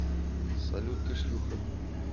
салют ты шлюха